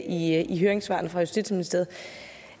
i høringssvarene fra justitsministeriet